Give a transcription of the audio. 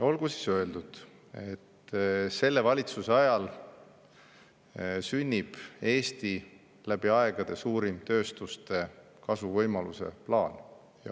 Olgu siis öeldud, et selle valitsuse ajal sünnib Eesti läbi aegade suurim tööstuste kasvuvõimaluse plaan.